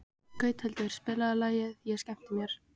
Gauthildur, spilaðu lagið „Ég skemmti mér“.